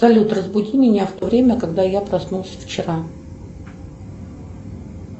салют разбуди меня в то время когда я проснулся вчера